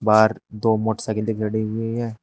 बाहर दो मोटरसाइकिलें गड़ी हुई हैं।